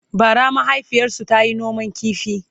bara mahaifiyarsu tayi noman ƙifi